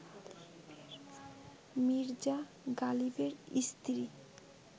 মির্জা গালিবের স্ত্রী